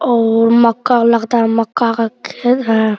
औ मक्का लगता है मक्का का खेत है।